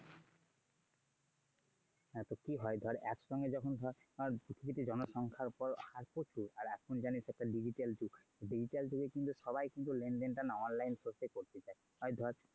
হ্যাঁ তো কি হয় ধর একসঙ্গে যখন ধর পৃথিবীতে জনসংখ্যার পর হার পড়তো আর এখন জানিস একটা digital যুগ আর digital যুগে সবাই কিন্তু লেনদেন টা onlinespace এ করতে চায়।